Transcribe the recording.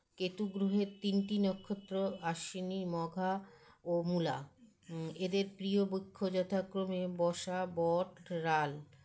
কেতুগ্ৰহের তিনটি নক্ষত্র আশ্বিনী মঘা ও মূলা এদের প্রীয় বৃক্ষ যথাক্রমে বশা বট রাল